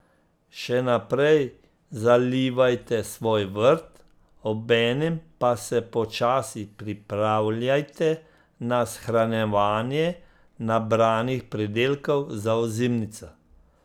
Še naprej zalivajte svoj vrt, obenem pa se počasi pripravljajte na shranjevanje nabranih pridelkov za ozimnico.